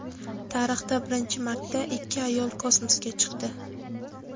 Tarixda birinchi marta ikki ayol kosmosga chiqdi.